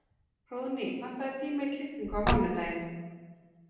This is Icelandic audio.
Hróðný, pantaðu tíma í klippingu á mánudaginn.